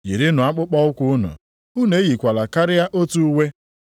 Yirinụ akpụkpọụkwụ unu, unu eyikwala karịa otu uwe.